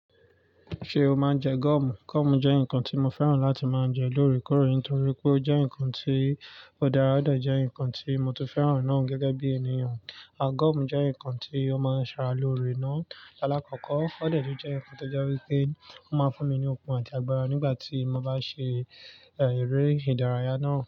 Ṣé o máa ń jẹ goomù? Goomù jẹ́ ǹkan tí mo fẹ́ràn láti máa ń jẹ lóòrèkóòrè ntorí pé ó jẹ́ ǹkan tí ó dára o de jẹ́ ǹkan tí mo tun fẹ́ràn náà gẹ́gẹ́ bí ènìyàn. À goọ̀mù jẹ́ ǹkan tí ó máa ń ṣa ra lóore náà. Alákọ̀kọ́, ó dẹ̀ tún jẹ́ ǹkan tó jẹ́ wípé ó máa ń fún mi ní okun àti agbára nígbà tí mo bá ṣe, er, eré ìdárayá náà.